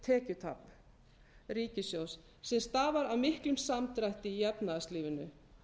mikið tekjutap ríkissjóðs sem stafar af miklum samdrætti í efnahagslífinu